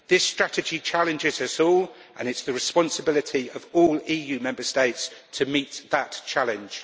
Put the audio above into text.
This strategy challenges us all, and it is the responsibility of all EU Member States to meet that challenge.